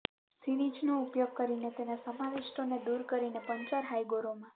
સિરિંજનો ઉપયોગ કરીને તેના સમાવિષ્ટોને દૂર કરીને પંચર હાયગોરોમા